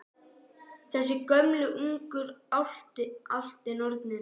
Þessar gömlu uglur, álftir, nornir?